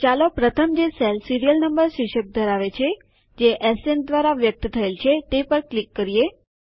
તો ચાલો પ્રથમ જે સેલ સીરીયલ નંબર શીર્ષક ધરાવે છે જે એસએન દ્વારા વ્યકત થયેલ છે તે પર ક્લિક કરો